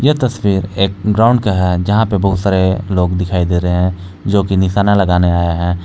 तस्वीर एक ग्राउंड का है जहां पे बहुत सारे लोग दिखाई दे रहे हैं जो कि निशाना लगाने आये है।